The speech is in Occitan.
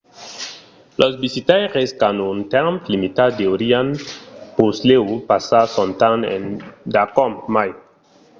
los visitaires qu’an un temps limitat deurián puslèu passar son temps endacòm mai